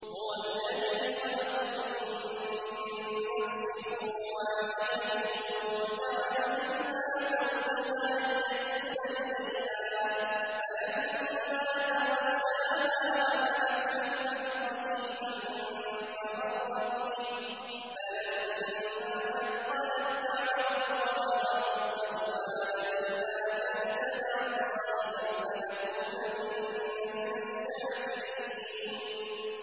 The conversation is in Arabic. ۞ هُوَ الَّذِي خَلَقَكُم مِّن نَّفْسٍ وَاحِدَةٍ وَجَعَلَ مِنْهَا زَوْجَهَا لِيَسْكُنَ إِلَيْهَا ۖ فَلَمَّا تَغَشَّاهَا حَمَلَتْ حَمْلًا خَفِيفًا فَمَرَّتْ بِهِ ۖ فَلَمَّا أَثْقَلَت دَّعَوَا اللَّهَ رَبَّهُمَا لَئِنْ آتَيْتَنَا صَالِحًا لَّنَكُونَنَّ مِنَ الشَّاكِرِينَ